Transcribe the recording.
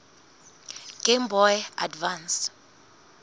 game boy advance